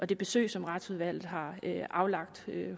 det besøg som retsudvalget har aflagt